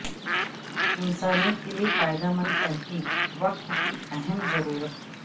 انسانیت کے لئے فائدہ مند تحقیق وقت کی اہم ضرورت